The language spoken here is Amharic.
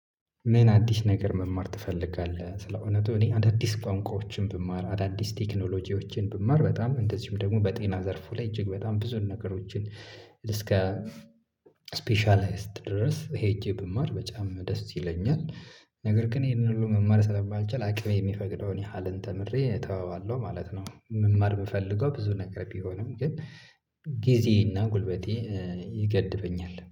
ምን አዲስ ነገር መማር ትፈልጋለህ? ስለእውነቱ እኔ አዳዲስ ቋንቋዎችን ብማር አዳዲስ ቴክኖሎጂዎችን ብማር በጣም እንደዚሁም ደግሞ በጤና ዘርፉ ላይ እጅግ በጣም ብዙ ነገሮችን እስከ ስፔሻልስት ድረስ ሄጄ ብማር በጣም ደስ ይለኛል። ነገር ግን ይሄንን ሁሉ መማር ስለማልቻል አቅሜ የሚፈቅደውን ያህል ተምሬ ተወዋለሁ ማለት ነው። መማር የምፈልገው ብዙ ነገር ቢሆንም ግን ጊዜ እና ጉልበቴ ይገድበኛል